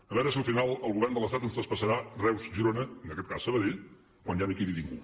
a veure si al final el govern de l’estat ens traspassarà reus i girona i en aquest cas sabadell quan ja no hi quedi ningú